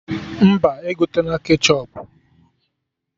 Mba, egotena ketchọp